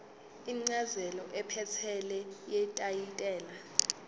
incazelo ephelele yetayitela